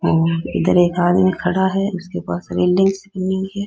और इधर एक आदमी खड़ा है उसके पास बिल्डिंग सी बनी हुई है।